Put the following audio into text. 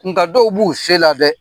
Nka dɔw b'u se la dɛ